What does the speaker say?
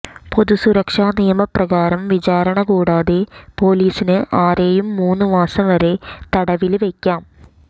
പൊതു സുരക്ഷാ നിയമ പ്രകാരം വിചാരണ കൂടാതെ പോലീസിന് ആരെയും മൂന്ന് മാസം വരെ തടവില് വെയ്ക്കാം